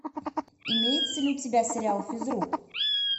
имеется ли у тебя сериал физрук